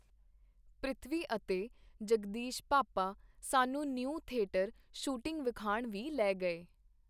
ਪ੍ਰਿਥਵੀ ਅਤੇ ਜਗਦੀਸ਼ ਭਾਪਾ ਸਾਨੂੰ ਨਿਊ ਥੇਟਰ ਸ਼ੂਟਿੰਗ ਵਿਖਾਣ ਵੀ ਲੈ ਗਏ.